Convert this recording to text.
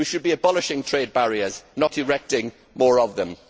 We should be abolishing trade barriers, not erecting more of them.